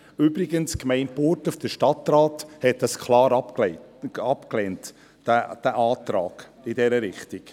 Übrigens hat der Stadtrat der Gemeinde Burgdorf diesen Antrag klar abgelehnt.